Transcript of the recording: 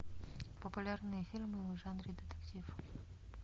популярные фильмы в жанре детектив